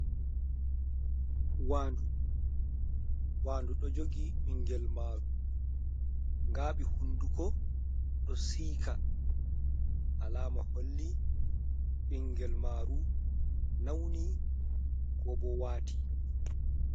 Waandu, waandu ɗo jogi ɓingel maaru, ngaaɓi hunduko, ɗo siika, alaama holli ɓingel maaru nawni, ko bo waati.